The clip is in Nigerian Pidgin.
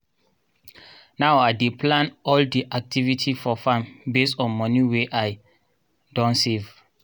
now i dey plan all di activity for farm based on moni wey i don save.